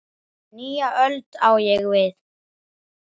Nýja öld, á ég við.